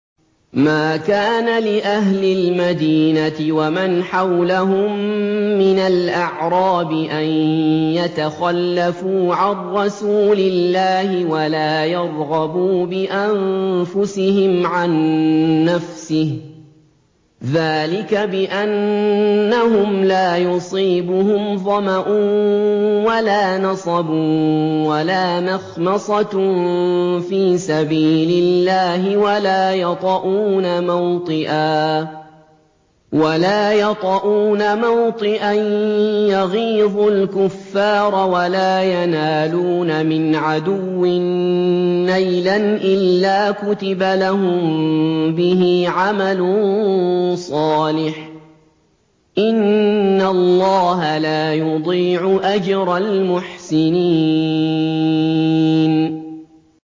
مَا كَانَ لِأَهْلِ الْمَدِينَةِ وَمَنْ حَوْلَهُم مِّنَ الْأَعْرَابِ أَن يَتَخَلَّفُوا عَن رَّسُولِ اللَّهِ وَلَا يَرْغَبُوا بِأَنفُسِهِمْ عَن نَّفْسِهِ ۚ ذَٰلِكَ بِأَنَّهُمْ لَا يُصِيبُهُمْ ظَمَأٌ وَلَا نَصَبٌ وَلَا مَخْمَصَةٌ فِي سَبِيلِ اللَّهِ وَلَا يَطَئُونَ مَوْطِئًا يَغِيظُ الْكُفَّارَ وَلَا يَنَالُونَ مِنْ عَدُوٍّ نَّيْلًا إِلَّا كُتِبَ لَهُم بِهِ عَمَلٌ صَالِحٌ ۚ إِنَّ اللَّهَ لَا يُضِيعُ أَجْرَ الْمُحْسِنِينَ